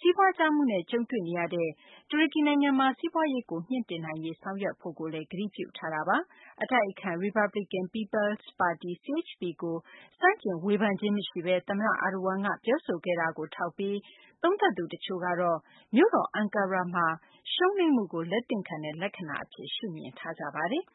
စီးပွားကျမှုနဲ့ ကြုံတွေ့နေရတဲ့ တူရကီ နိုင်ငံမှာ စီးပွားရေးကို မြှင့်တင်နိုင်ရေး ဆောင်ရွက်ဖို့လည်း ကတိပြုထားတာပါ။ အတိုက်အခံ Republican People’s ပါတီ CHP ကို ဆန့်ကျင်ဝေဖန်ခြင်း မရှိဘဲ သမ္မတ Erdogan က ပြောဆိုခဲ့တာကို ထောက်ပြီး သုံးသပ်သူ တချို့ကတော့ မြို့တော် အန်ကာရာမှာ ရှုံးနိမ့်မှုကို လက်သင့်ခံတဲ့ လက္ခာဏာ အဖြစ် ရှုမြင်နေကြပါတယ်။